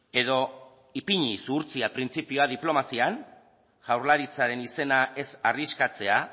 edo ipini zuhurtzia printzipioa diplomazian jaurlaritzaren izena ez arriskatzea